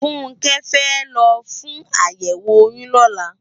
Funke fè lò fún àyèwó óyùn lòlá